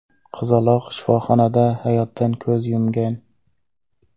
Qizaloq shifoxonada hayotdan ko‘z yumgan.